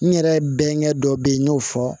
N yɛrɛ bɛnkɛ dɔ be yen n y'o fɔ